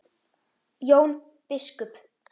Jón biskup!